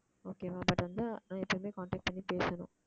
okay வா but வந்தா நான் எப்பவுமே contact பண்ணி பேசணும்